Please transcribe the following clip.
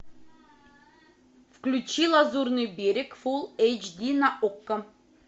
включи лазурный берег фулл эйч ди на окко